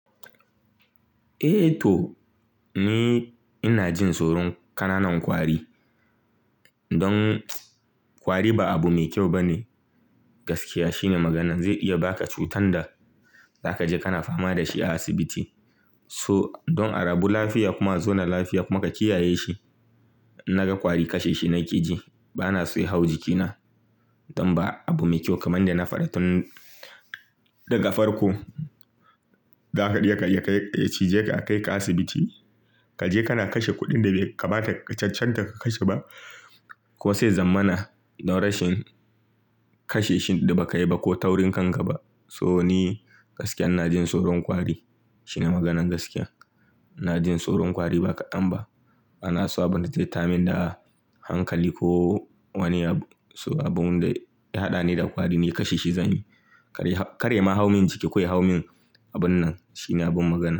Eh to ni ina jin tsoron ƙananan kwari. Don ƙwari ba abu mai kyau bane gaskiya shine maganan zai iya baka cutar da zaka je kana fama dashi a asibiti. So don a rabu lafiya kuma zauna lafiya kuma ka kiyaye shi. Naga ƙwari kashe shi nake ji. Bana so ya hau jikina don ba abu mai kyau kamar da yanda na faɗa tun daga farko. Zaka iya cije ka a kai ka asibiti kaje kana kashe kuɗin da bai kamata ka cancanta ka kashe ba. Ko sai zamana na rashin kashe shi da ba ka yi ba ko taurin kan ka ba. So ni gaskiya ina jin tsoron ƙwari shine maganan gaskiya. Ina jin tsoron ƙwari ba kaɗan ba. Bana so abin da zai tayarmin da hankali ko wani abu. So abun da ya haɗa ni da kwari ni kashe shi zanyi. Kar ya ma hau min jiki, ko ya hau min abun nan shine abun magana.